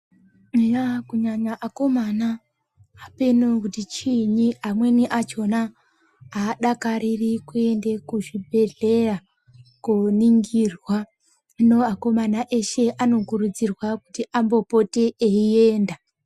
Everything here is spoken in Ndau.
Eya kunyanya akomana apenoo kuti chiinyi amweni achona adakariri kuenda kuzvibhedhleya kooningirwa, hino akomana eshe anokurudzirwa kuti ambopote einda.